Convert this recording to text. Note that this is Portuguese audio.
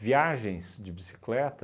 Viagens de bicicleta,